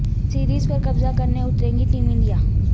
series پر قبضہ کرنے اتر ے گی ٹیم انڈیا